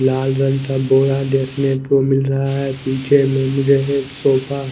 लाल रंग का बोरा देखने को मिल रहा है पीछे मुझे एक सोफा --